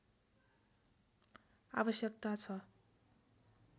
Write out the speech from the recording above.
आवश्यकता छ